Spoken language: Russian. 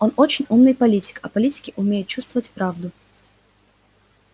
он очень умный политик а политики умеют чувствовать правду